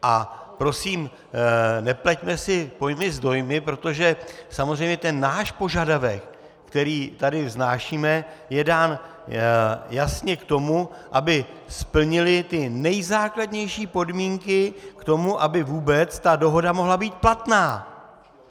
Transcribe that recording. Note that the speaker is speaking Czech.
A prosím, nepleťme si pojmy s dojmy, protože samozřejmě ten náš požadavek, který tady vznášíme, je dán jasně k tomu, aby splnili ty nejzákladnější podmínky k tomu, aby vůbec ta dohoda mohla být platná.